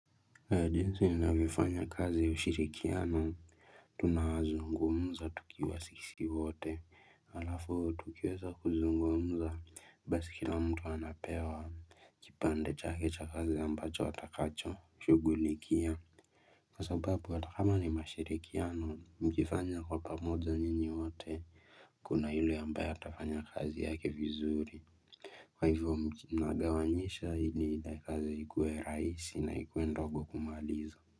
Jinsi ninavyofanya kazi ushirikiano tunazungumza tukiwa sisi wote halafu tukiweza kuzungumza basi kila mtu anapewa kipande chake cha kazi ambacho atakachoshugulikia Kwa sababu hata kama ni mashirikiano mkifanya kwa pamoja nyinyi wote Kuna yule ambaye atafanya kazi yake vizuri Kwa hivyo mnagawanyisha hili kazi ikuwe rahisi na ikuwe ndogo kumaliza.